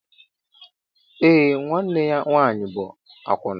Eé, nwanne ya nwaanyị bụ àkwụnà